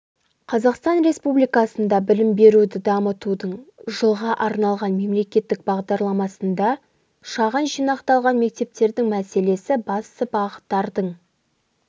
қазақстан республикасында білім беруді дамытудың жылға арналған мемлекеттік бағдарламасында шағын жинақталған мектептердің мәселесі басты бағыттардың